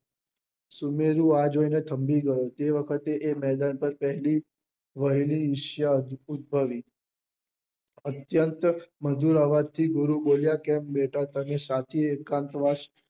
સુનેરી આ જોઈ ને થંભી ગઈ તે વખતે એ મેદાન પહેલી વહેલી ઈર્ષ્યા ઉદ્ભવી અત્યંત મધુર અવાજ થી ગુરુ બોલ્યા કે બેટા તને સાચી એકાંતવાસ